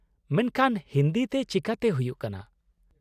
ᱢᱮᱱᱠᱷᱟᱱ ᱦᱤᱱᱫᱤ ᱛᱮ ᱪᱤᱠᱟᱹᱛᱮ ᱦᱩᱭᱩᱜ ᱠᱟᱱᱟ ?